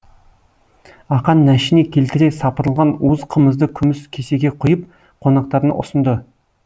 ақан нәшіне келтіре сапырылған уыз қымызды күміс кесеге құйып қонақтарына ұсынды